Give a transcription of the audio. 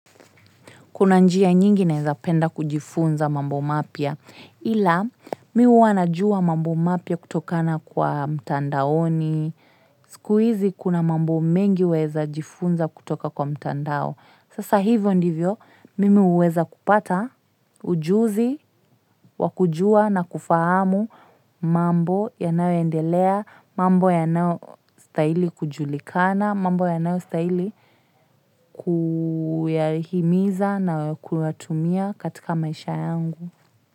Kuna njia nyingi naweza penda kujifunza mambo mapya. Ila mimi huwa najua mambo mapya kutokana kwa mtandaoni. Siku hizi kuna mambo mengi waweza jifunza kutoka kwa mtandao. Sasa hivyo ndivyo, mimi huweza kupata ujuzi, wakujua na kufahamu mambo yanayoendelea, mambo yanayostahili kujulikana, mambo yanayostahili kuyahimiza na kuyatumia katika maisha yangu.